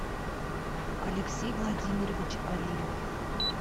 алексей владимирович алимов